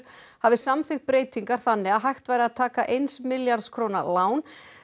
hafi samþykkt breytingar þannig að hægt væri að taka eins milljarðs króna lán